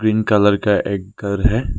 Pink colour का एक घर है।